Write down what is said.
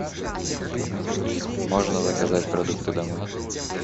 можно заказать продукты домой